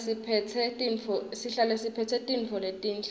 sihlale siphetse tintfo letinhle